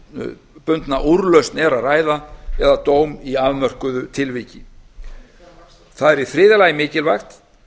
tiltölulega einstaklingsbundna úrlausn er að ræða eða dóm í afmörkuðu tilviki það er í þriðja lagi mikilvægt